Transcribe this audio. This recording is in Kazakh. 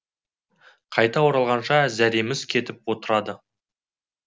қайта оралғанша зәреміз кетіп отырады